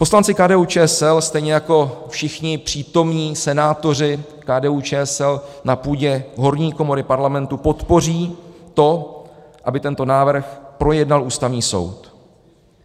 Poslanci KDU-ČSL, stejně jako všichni přítomní senátoři KDU-ČSL na půdě horní komory Parlamentu, podpoří to, aby tento návrh projednal Ústavní soud.